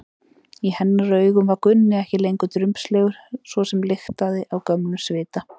Í hennar augum var Gunni ekki lengur drumbslegur svoli sem lyktaði af gömlum svita.